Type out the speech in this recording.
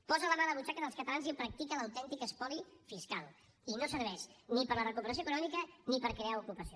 posa la mà a la butxaca dels catalans i practica l’autèntic espoli fiscal i no serveix ni per a la recuperació econòmica ni per crear ocupació